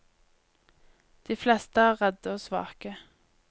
De fleste er redde og svake.